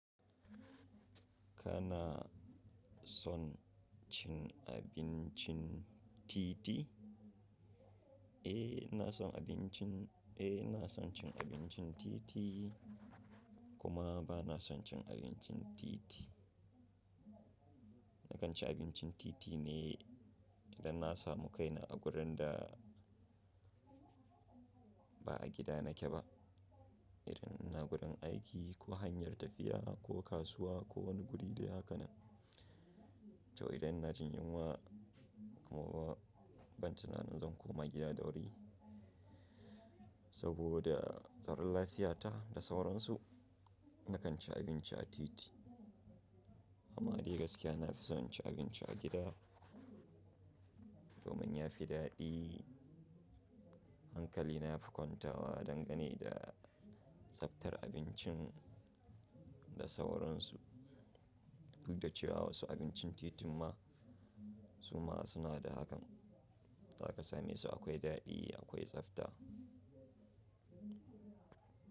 Kana son cin abincin titi? Eh, ina son abincin, eh, ina son cin abincin titi, kuma ba na son cin abincin titi. Na kan ci abincin titi ne idan na samu kaina a wurin da ba a gida nake ba. Idan ina gurin aiki, ko hanyar tafiya, ko kasuwa, ko wani guri dai haka nan. To idan ina jin yunwa kuma ba, ban tunanin zan koma gida da wuri saboda tsaron lafiyata da sauransu, na kan ci abinci a titi. Amma dai gaskiya na fi son cin abinci a gida domin ya fi daɗi. Hankali na ya fi kwantawa dangane da tsaftar abincin da sauransu. Duk da cewa wasu abincin titin ma su ma suna da hakan, zaka same su akwai daɗi, akwai tsafta.